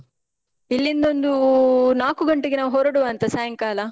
ಇಲ್ಲಿಂದ ಒಂದೂ ನಾಲ್ಕು ಗಂಟೆಗೆ ನಾವ್ ಹೊರ್ಡುವಾಂತ ಸಾಯಂಕಾಲ.